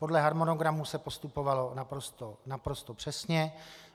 Podle harmonogramu se postupovalo naprosto přesně.